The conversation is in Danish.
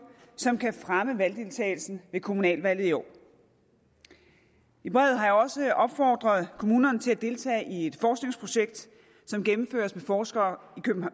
som kan fremme valgdeltagelsen ved kommunalvalget i år i brevet har jeg også opfordret kommunerne til at deltage i et forskningsprojekt som gennemføres af forskere